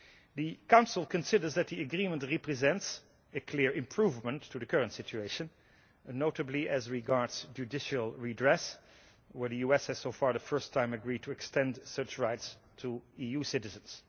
The Council considers that the agreement represents a clear improvement to the current situation, notably as regards judicial redress, where the US has so far for the first time agreed to extend such rights to EU citizens.